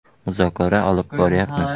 Muzokara olib boryapmiz.